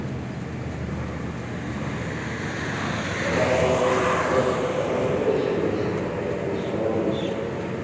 તમારે તમે તમારે કેટલોક experience છે આમાં કે ખાલી જાણવાનું જ છે અત્યારે.